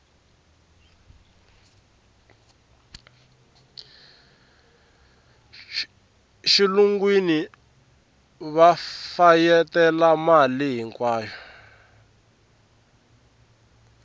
xilungwini va fayetela mali hinkwayo